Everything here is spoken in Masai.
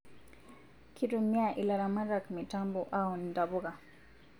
Kitumia ilaramatak mitambo aun intapuka